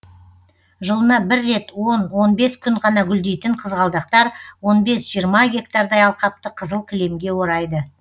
жылына бір рет он он бес күн ғана гүлдейтін қызғалдақтар он бес жиырма гектардай алқапты қызыл кілемге орайды